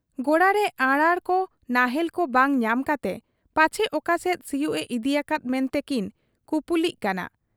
ᱜᱚᱲᱟᱨᱮ ᱟᱨᱟᱬᱠᱚ ᱱᱟᱦᱮᱞᱠᱚ ᱵᱟᱝ ᱧᱟᱢ ᱠᱟᱛᱮ ᱯᱟᱪᱷᱮ ᱚᱠᱟᱥᱮᱫ ᱥᱤᱭᱩᱜ ᱮ ᱤᱫᱤ ᱟᱠᱟᱫ ᱢᱮᱱᱛᱮ ᱠᱤᱱ ᱠᱩᱯᱩᱞᱤᱜ ᱠᱟᱱᱟ ᱾